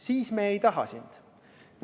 Siis me ei taha sind!